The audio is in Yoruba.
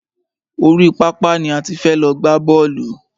Orí pápá ni a ti fẹ́ lọ gbá bọ́ọ̀lù.